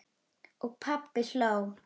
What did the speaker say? Og pabbi hló.